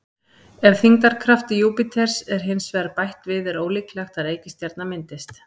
Ef þyngdarkrafti Júpíters er hins vegar bætt við er ólíklegt að reikistjarna myndist.